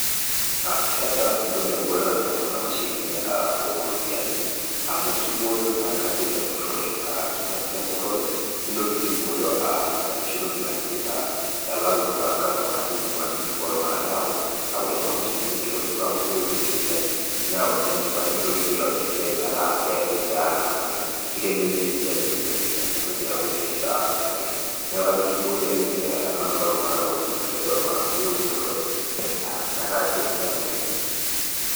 Keeta entoki naibooyo enalenko kuna mashinini ooropiyiani, amu kibooyo naa kajo emburrore. Kipungusa emburrore, nitoki sii aibooyo enoshi toki naji elayu orkastomani uaminifu ooltunganak. Neeku wore kuna mashinini kitobiru amu keetu eseriani. Neyau sii enchipae, nitoki sii aitobir esiai metaa keesi tiaraka naleng. Kitelelia esiai oleng'. Mitoki aaku esiai sapuk naleng. Neeku kajo kiboi ake ena nalayu iltunganak uaminifu tiatua iltunganak kulie, wemburtore.